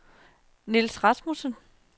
Nils Rasmussen